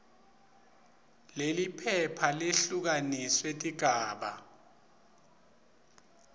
leliphepha lehlukaniswe tigaba